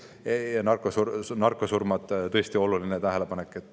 Ja narkosurmad on tõesti teil oluline tähelepanek.